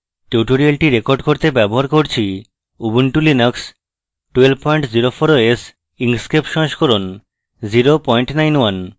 tutorial record করতে ব্যবহার করছি ubuntu linux 1204 os inkscape সংস্করণ 091